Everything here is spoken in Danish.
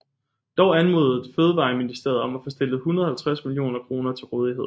Dog anmodede Fødevareministeriet om at få stillet 150 millioner kroner til rådighed